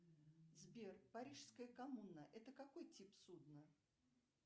сбер парижская коммуна это какой тип судна